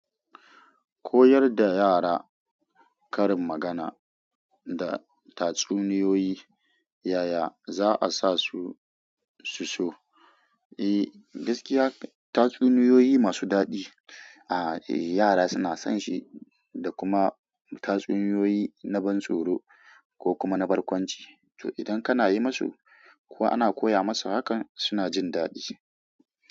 Koyar da yara karin magana da tatsuniyoyi, yaya za a sa su su so? Eh, gaskiya tatsuniyoyi masu daɗi. A yara suna son shi da kuma tatsuniyoyi na ban tsoro ko kuma na barkwanci. To, idan kana yi musu ko ana koya musu hakan suna jin daɗi.